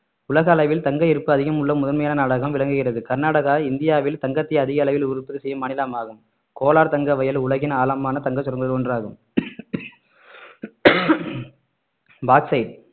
உலக அளவில் தங்க இருப்பு அதிகம் உள்ள முதன்மையான நாடாகவும் விளங்குகிறது கர்நாடகா இந்தியாவில் தங்கத்தை அதிக அளவில் உற்பத்தி செய்யும் மாநிலமாகும் கோலார் தங்க வயல் உலகின் ஆழமான தங்க சுரங்கங்களில் ஒன்றாகும் பாக்ஸைட்